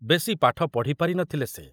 ବେଶି ପାଠ ପଢ଼ି ପାରି ନ ଥିଲେ ସେ।